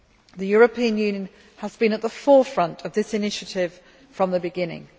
The European Union has been at the forefront of this initiative from the beginning.